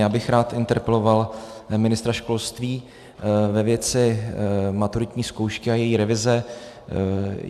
Já bych rád interpeloval ministra školství ve věci maturitní zkoušky a její revize.